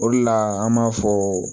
O de la an b'a fɔ